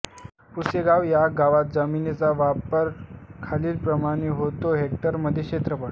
पुसेगाव ह्या गावात जमिनीचा वापर खालीलप्रमाणे होतो हेक्टरमध्ये क्षेत्रफळ